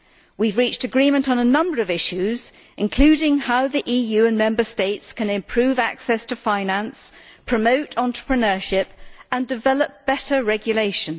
We have reached agreement on a number of issues, including how the EU and Member States can improve access to finance, promote entrepreneurship and develop better regulation.